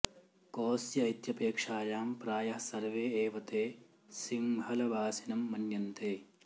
कोऽस्य इत्यपेक्षायां प्रायः सर्वे एव ते सिंहलवासिनं मन्यन्ते